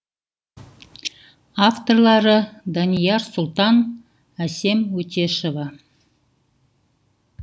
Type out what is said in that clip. авторлары данияр сұлтан әсем өтешова